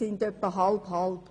sie sind etwa halb-halb.